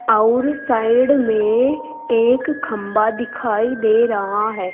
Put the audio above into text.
और साइड में एक खम्भा दिखाई दे रहा है।